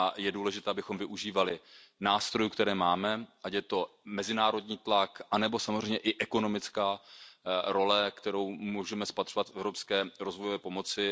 Je důležité, abychom využívali nástrojů, které máme, ať je to mezinárodní tlak nebo samozřejmě i ekonomická role, kterou můžeme spatřovat v evropské rozvojové pomoci.